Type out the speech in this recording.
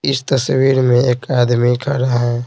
इस तस्वीर में एक आदमी खड़ा है।